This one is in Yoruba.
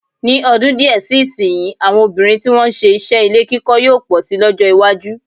Ní ọdún díè sí ìsìnyí, àwọn obìnrin tí wọ́n ń se iṣẹ́ ilé-kíkọ́ yóò pọ̀ si lọ́jọ́-iwájú.